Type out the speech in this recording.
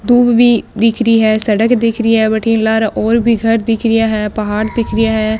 दूब भी दिख री है सड़क दिख री है बठीने लारे और भी घर दिख रिया है पहाड़ दिख रिया है।